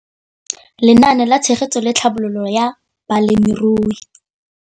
Lenaane la Tshegetso le Tlhabololo ya Balemirui.